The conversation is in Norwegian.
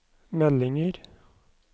meldinger